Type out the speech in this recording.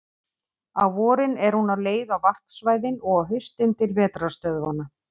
Á vorin er hún á leið á varpsvæðin og á haustin til vetrarstöðvanna.